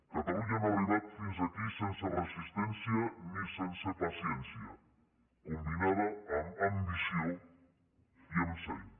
catalunya no ha arribat fins aquí sense resistència ni sense paciència combinada amb ambició i amb seny